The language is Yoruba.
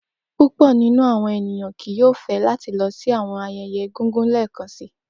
Pupọ ninu awọn eniyan kii yoo fẹ lati lọ si awọn ayẹyẹ egungun lẹẹkansi.